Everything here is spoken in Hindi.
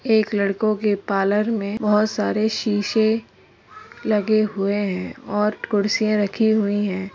एक लड़को के पार्लर में बहोत सारे शीशे लगे हुए हैं और कुर्सियाँ रखी हुई हैं।